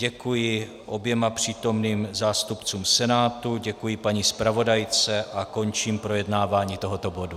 Děkuji oběma přítomným zástupcům Senátu, děkuji paní zpravodajce a končím projednávání tohoto bodu.